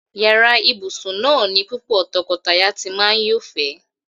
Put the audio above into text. Yàrá ìbùsùn náà ni púpò̩ to̩ko̩taya ti máa ń yófè̩é̩.